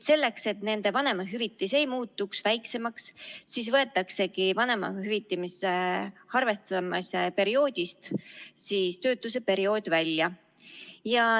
Selleks, et nende vanemahüvitis ei muutuks väiksemaks, võetaksegi vanemahüvitise arvestamise perioodist töötuseperiood välja.